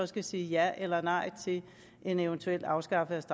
skal sige ja eller nej til en eventuel afskaffelse